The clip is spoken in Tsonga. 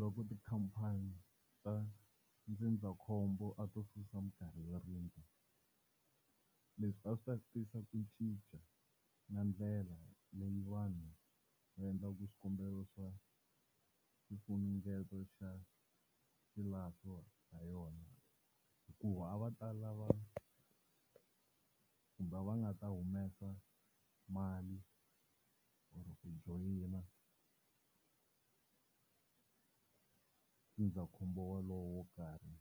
Loko tikhampani ta ndzindzakhombo a to susa mikarhi yo rindza, leswi a swi ta tisa ku cinca na ndlela leyi vanhu vaendlaku swikombelo swa xifunengeto xa xilahlo ha yona. Hikuva a va ta lava kumbe a va nga ta humesa mali or ku joyina ndzindzakhombo wolowo wo karhi